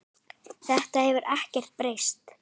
Þetta hefur ekkert breyst.